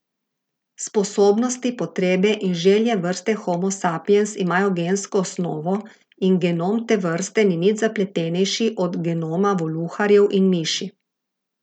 Sposobnosti, potrebe in želje vrste Homo sapiens imajo gensko osnovo in genom te vrste ni nič zapletenejši od genoma voluharjev in miši.